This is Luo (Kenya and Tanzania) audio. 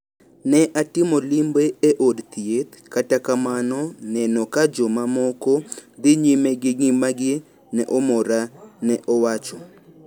Ne atimo limbe e od thieth, kata kamano neno ka jomamoko dhi nyime gi ngimagi ne omora, ne owacho.